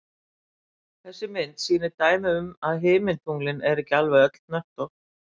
þessi mynd sýnir dæmi um að himintunglin eru ekki alveg öll hnöttótt